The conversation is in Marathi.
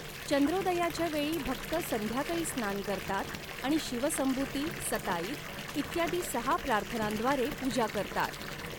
चंद्रोदयाच्या वेळी भक्त संध्याकाळी स्नान करतात आणि शिव संबुती, सताईत इत्यादी सहा प्रार्थनांद्वारे पूजा करतात.